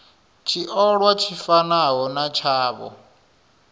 tshiolwa tshi fanaho na tshavho